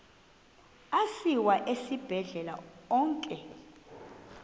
asiwa esibhedlele onke